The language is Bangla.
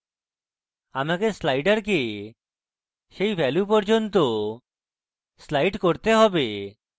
আমাকে sliders সেই value পর্যন্ত slide করতে have